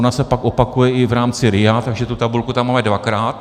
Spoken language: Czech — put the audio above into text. Ona se pak opakuje i v rámci RIA, takže tu tabulku tam máme dvakrát.